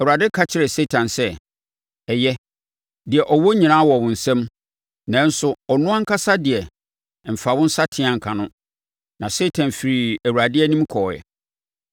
Awurade ka kyerɛɛ Satan sɛ, “Ɛyɛ, deɛ ɔwɔ nyinaa wɔ wo nsam, nanso ɔno ankasa deɛ, mfa wo nsateaa nka no.” Na Satan firii Awurade anim kɔeɛ.